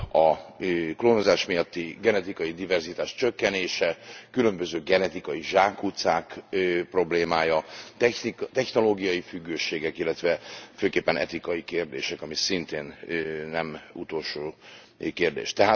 a klónozás miatti genetikai diverzitás csökkenése, különböző genetikai zsákutcák problémája, technológiai függőségek, illetve főképpen etikai kérdések ami szintén nem utolsó kérdés.